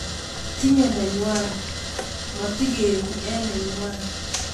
Tinye nenywa ,matigeegu eng nenywa